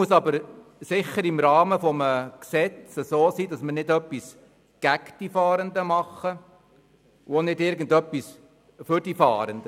Wir können aber nicht im Rahmen des Gesetzes etwas gegen die Fahrenden tun, auch nicht etwas für die Fahrenden.